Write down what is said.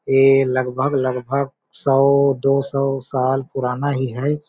ए लगभग-लगभग सौ-दोसों साल पुराना ही है।